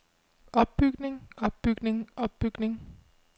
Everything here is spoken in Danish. opbygning opbygning opbygning